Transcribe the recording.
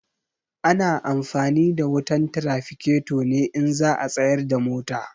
Ana amfani da wutan tiraficato ne in za a tsayar da mota.